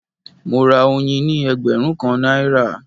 Mo ra oyin ní ẹgbẹ̀rún kan náírà